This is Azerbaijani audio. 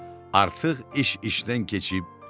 Artıq iş işdən keçib.